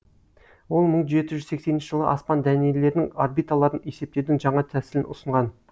ол мың жеті жүз сексенінші жылы аспан дәнелерінің орбиталарын есептеудің жаңа тәсілін ұсынған